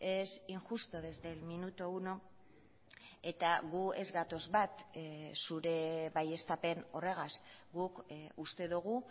es injusto desde el minuto uno eta gu ez gatoz bat zure baieztapen horregaz guk uste dugu